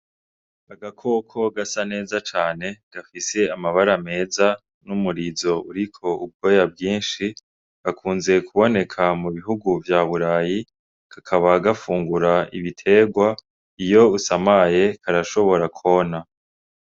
Agakoko gasa neza cane gafise amabara meza n'umurizo uriko ubwoya bwinshi gakunze kuboneka mu bihugu vyaburayi kakaba gufungura ibiterwa iyo usamaye karashobora kwona.